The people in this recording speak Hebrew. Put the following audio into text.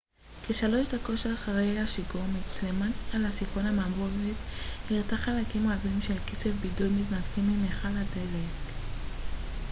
כ-3 דקות אחרי השיגור מצלמה על סיפון המעבורת הראתה חלקים רבים של קצף בידוד מתנתקים ממכל הדלק